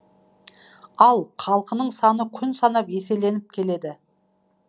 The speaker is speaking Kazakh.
ал халқының саны күн санап еселеніп келеді